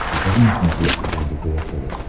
покажи на смотрешке лдпр тв